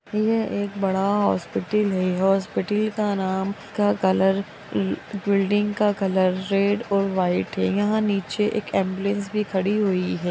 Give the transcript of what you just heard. यह एक बड़ा हॉस्पिटल है हॉस्पिटल का नाम का कलर बिल्डिंग का कलर रेड और व्हाइट है यहाँ नीचे एक एम्बुलेंस भी खड़ी हुई है।